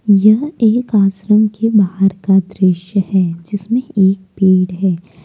यह एक आश्रम के बाहर का दृश्य है जिसमें एक पेड़ है।